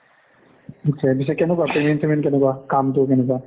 এতিয়া পিছে কেনেকুৱা payment চেমেণ্ট কেনেকুৱা কামটো কেনেকুৱা